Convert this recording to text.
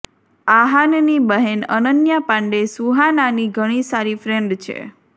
આહાનની બહેન અનન્યા પાંડે સુહાનાની ઘણી સારી ફ્રેન્ડ છે